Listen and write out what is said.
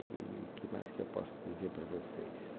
E o que mais que eu posso dizer para vocês?